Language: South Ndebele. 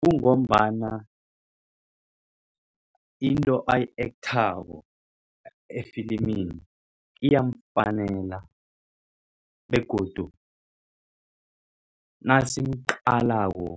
Kungombana into ayi-ekthako efilimini iyamfanelo begodu nasimqalako